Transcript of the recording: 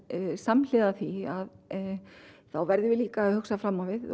samhliða því þá verðum við líka að hugsa fram á við